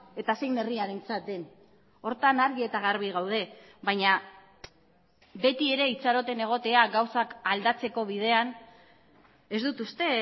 eta zein herriarentzat den horretan argi eta garbi gaude baina beti ere itxaroten egotea gauzak aldatzeko bidean ez dut uste